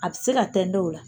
A bɛ se ka tɛntɛn ola